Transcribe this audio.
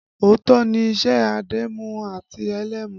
Ọ̀tọ̀ ni iṣẹ́ adẹ́mu àti ẹlẹ́mu